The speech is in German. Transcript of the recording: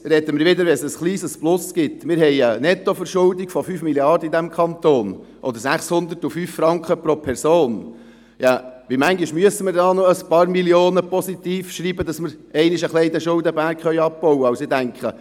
Wenn es wieder ein kleines Plus gibt – wir haben eine Nettoverschuldung von 5 Mrd. Franken in diesem Kanton oder 605 Franken pro Person –, wie oft müssen wir da noch ein paar Millionen im Positiven sein, damit wir einmal den Schuldenberg ein wenig abbauen können?